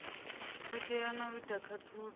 katela na u ita khaṱhululo